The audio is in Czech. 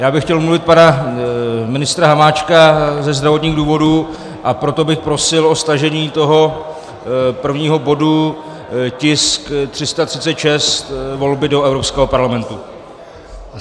Já bych chtěl omluvit pana ministra Hamáčka ze zdravotních důvodů, a proto bych prosil o stažení toho prvního bodu, tisk 336 - volby do Evropského parlamentu.